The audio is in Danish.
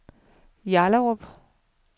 Hjallerup